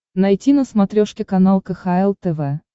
найти на смотрешке канал кхл тв